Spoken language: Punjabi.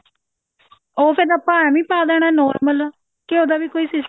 ਉਹ ਫ਼ੇਰ ਆਪਾਂ ਏਵੀ ਪਾ ਦੇਣਾ normal ਕਿ ਉਹਦਾ ਵੀ ਕੋਈ